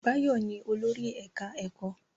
Báyọ̀ ni olórí ẹ̀ká ẹ̀kọ́